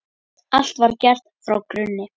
Allt var gert frá grunni.